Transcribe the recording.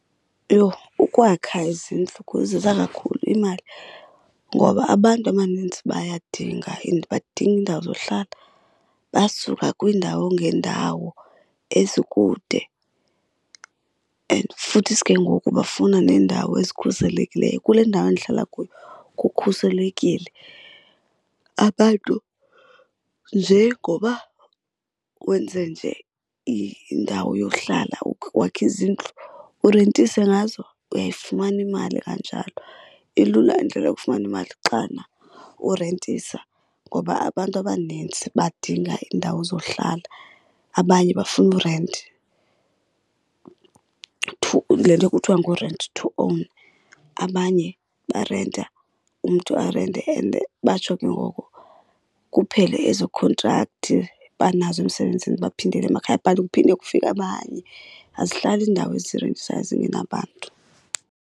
Yho, ukwakha izindlu kakhulu imali. Ngoba abantu abanintsi bayadinga and badinga iindawo zohlala basuka kwiindawo ngeendawo ezikude and futhisi ke ngoku bafuna neendawo ezikhuselekileyo. Kule ndawo ndihlala kuyo kukhuselekile. Abantu nje ngoba wenze nje indawo yohlala wakhe izindlu urentise ngazo, uyayifumana imali kanjalo. Ilula indlela yokufumana imali xana urentisa ngoba abantu abanintsi badinga iindawo zohlala. Abanye bafuna i-rent, le nto kuthwa ngu-rent-to-own. Abanye barenta, umntu arente and batsho ke ngoku kuphele ezo khontrakthi banazo emsebenzini baphindele emakhaya, but kuphinde kufike abanye. Azihlali iindawo ezirentisayo zingenabantu.